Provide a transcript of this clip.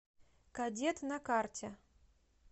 кадет на карте